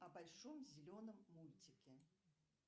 о большом зеленом мультике